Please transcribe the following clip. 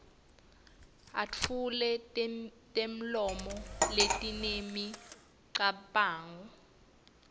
etfule temlomo letinemicabango